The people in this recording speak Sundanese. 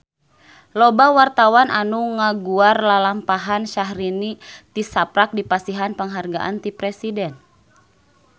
Loba wartawan anu ngaguar lalampahan Syahrini tisaprak dipasihan panghargaan ti Presiden